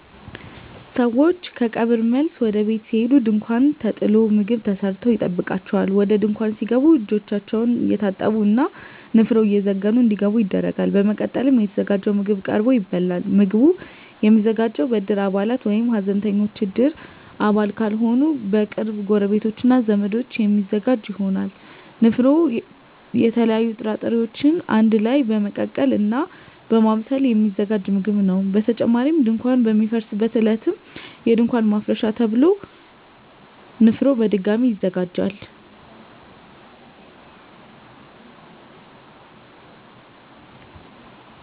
ሰወች ከቀብር መልስ ወደ ቤት ሲሄዱ ድንኳን ተጥሎ ምግብ ተሰርቶ ይጠብቃቸዋል። ወደ ድንኳን ሲገቡም እጃቸውን እየታጠቡ እና ንፍሮ እየዘገኑ እንዲገቡ ይደረጋል። በመቀጠልም የተዘጋጀው ምግብ ቀርቦ ይበላል። ምግቡ የሚዘጋጀው በእድር አባላት ወይም ሀዘንተኞች እድር አባል ካልሆኑ በቅርብ ጎረቤቶች እና ዘመዶች የሚዘጋጅ ይሆናል። ንፍሮ የተለያዩ ጥራጥሬወችን አንድ ላይ በመቀቀል እና በማብሰል የሚዘጋጅ ምግብ ነው። በተጨማሪም ድንኳን በሚፈርስበት ዕለትም እንዲሁ የድንኳን ማፍረሻ ተብሎ ንፍሮ በድጋሚ ይዘጋጃል።